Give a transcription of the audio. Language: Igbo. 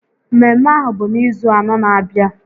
Mmemme ahụ bụ n'izu anọ n'abịa